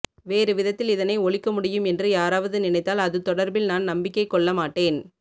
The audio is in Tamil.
வேறு விதத்தில் இதனை ஒழிக்க முடியும் என்று யாராவது நினைத்தால் அது தொடர்பில் நான் நம்பிக்கை கொள்ள மாட்டேன்